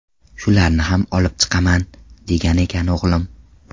Shularni ham olib chiqaman, degan ekan o‘g‘lim.